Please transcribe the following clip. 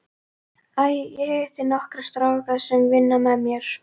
Æ, ég hitti nokkra stráka sem vinna með mér.